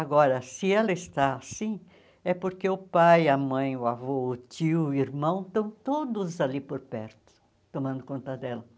Agora, se ela está assim, é porque o pai, a mãe, o avô, o tio, o irmão, estão todos ali por perto, tomando conta dela.